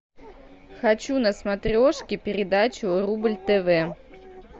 хочу на смотрешке передачу рубль тв